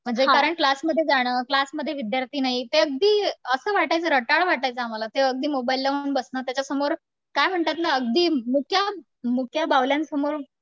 म्हणजे कारण क्लासमध्ये जाणं क्लासमध्ये विद्यार्थी नाही ते अगदी असं वाटायचं वाटायचं आम्हाला ते अगदी मोबाईल लावून बसणं त्याच्यासमोर काय म्हणतात ना अगदी मुक्या मुक्या बाहुल्यांसमोर